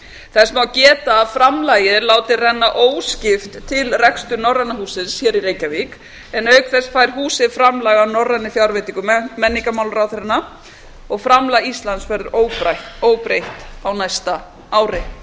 þess má geta að framlagið er látið renna óskipt til reksturs norræna hússins hér í reykjavík en auk þess fær húsið framlag af norrænum fjárveitingum menningarmálaráðherranna og framlag íslands verður óbreytt á næsta ári